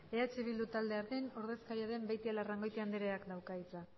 eh bildu taldearen ordezkaria den beitialarrangoitia andreak dauka hitza